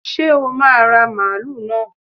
Ṣé o máa ra mààúlù náà?